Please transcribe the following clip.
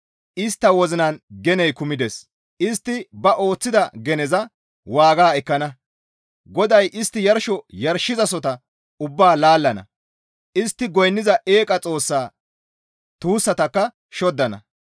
Istta wozinan geney kumides; istti ba ooththida geneza waaga ekkana. GODAY istti yarsho yarshizasohota ubbaa laallana. Istti goynniza eeqa xoossa tuussatakka shoddana.